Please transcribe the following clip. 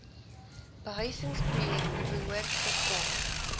behuisingsprojekte behoort gegrond